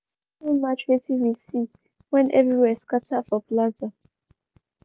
di tori no match wetin we see wen everywhere scatter for plaza.